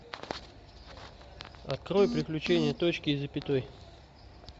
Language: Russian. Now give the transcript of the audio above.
открой приключения точки и запятой